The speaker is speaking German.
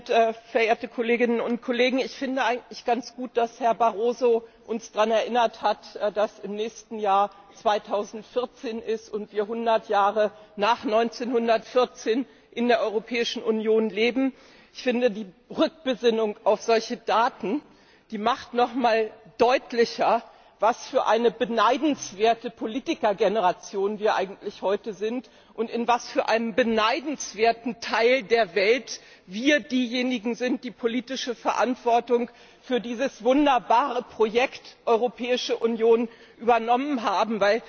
Herr Präsident, sehr geehrter Herr Kommissionspräsident, verehrte Kolleginnen und Kollegen! Ich finde eigentlich ganz gut, dass Herr Barroso uns daran erinnert hat, dass im nächsten Jahr 2014 ist und wir ein Hundert Jahre nach 1914 in der Europäischen Union leben. Ich finde, die Rückbesinnung auf solche Daten, die macht noch einmal deutlicher, was für eine beneidenswerte Politikergeneration wir eigentlich heute sind, und in was für einem beneidenswerten Teil der Welt wir diejenigen sind, die politische Verantwortung für dieses wunderbare Projekt Europäische Union übernommen haben.